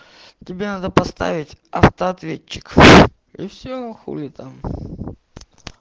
тебе надо поставить автоответчик и все а хули там